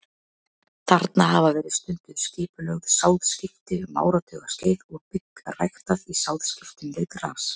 Þarna hafa verið stunduð skipulögð sáðskipti um áratugaskeið og bygg ræktað í sáðskiptum við gras.